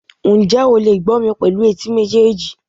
njẹ o le gbó mí pelu etí mejeejí